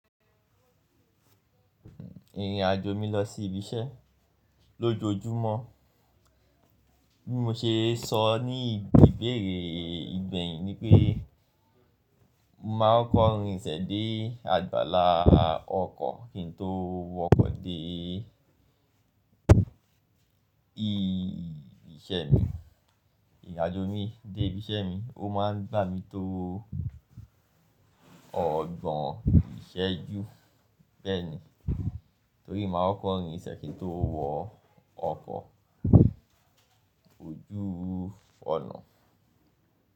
Ìrìn àjò mi lọ sí ibi iṣẹ́ lójoójúmọ́, bí mo ṣe sọ ní ìbéèrè ìgbẹ̀yìn ni pé mo máa kokọ rinsẹ̀ dé àgbàlá ọkọ̀ kí n tó wọkọ̀ dé ibi iṣẹ́ mi. Ìrìn àjò mi dé ibi iṣẹ́ mi ó máa ń gbà mí tó ọgbọ̀n ìṣẹ́jú bẹ́ẹ̀ni, torí mo máa ń kọko rinsẹ́ kin tó wọ ọkọ̀ ojú ọ̀nà.